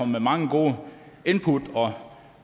med mange gode input